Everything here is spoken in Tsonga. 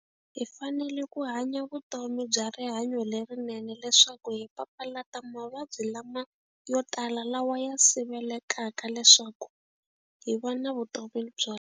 Hi fanele ku hanya vutomi bya rihanyo lerinene leswaku hi papalata mavabyi lama yo tala lawa ya sivelekaka leswaku hi va na vutomi byo.